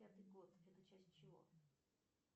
пятый год это часть чего